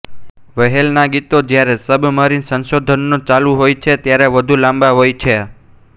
વહેલના ગીતો જ્યારે સબમરીન સંશોધનો ચાલુ હોય છે ત્યારે વધુ લાંબા હોય છે